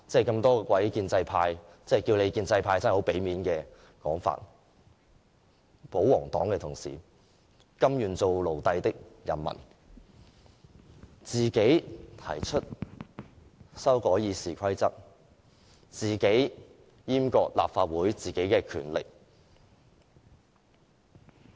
諸位建制派——稱他們建制派真是相當給他們面子——保皇黨的同事，甘願當奴隸的人們，自行提出修改《議事規則》、自行閹割立法會的權力。